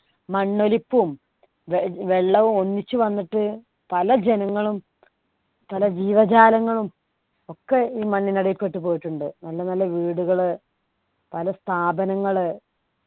മണ്ണൊലിപ്പും വെള്ളവും ഒന്നിച്ച് വന്നിട്ട് പല ജനങ്ങളും പല ജീവജാലങ്ങളും ഒക്കെ ഈ മണ്ണിനടിയിൽ പെട്ടുപോയിട്ടുണ്ട് നല്ല നല്ല വീടുകള് പല സ്ഥാപനങ്ങള്